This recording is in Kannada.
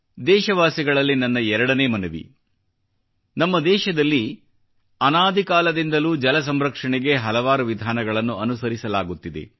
ದೇಶವಾಸಿಗಳಲ್ಲಿ ನನ್ನ 2 ನೇ ಮನವಿ ನಮ್ಮ ದೇಶದಲ್ಲಿ ಅನಾದಿಕಾಲದಿಂದಲೂ ಜಲ ಸಂರಕ್ಷಣೆಗೆ ಹಲವಾರು ವಿಧಾನಗಳನ್ನು ಅನುಸರಿಸಲಾಗುತ್ತಿದೆ